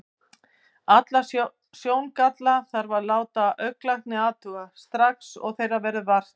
Alla sjóngalla þarf að láta augnlækni athuga, strax og þeirra verður vart.